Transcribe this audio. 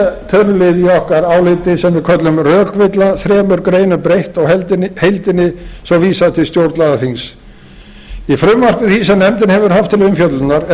í þriðja tölulið í okkar áliti sem við köllum rökvilla þriðja rökvilla þremur greinum breytt og heildinni svo vísað til stjórnlagaþings í frumvarpi því sem nefndin hefur haft til umfjöllunar er gerð